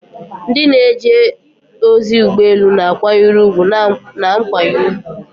Ndị na-eje ozi ụgbọ elu na-akwanyere ùgwù na nkwanye ùgwù.